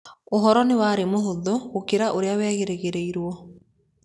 Ũhoro nĩ warĩ mũhũthũ gũkĩra ũrĩa werĩgĩrĩirũo.